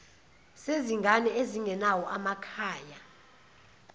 zezingane ezingenawo amakhaya